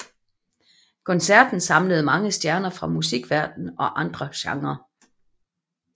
Koncerten samlede mange stjerner fra musikverdenen og andre genrer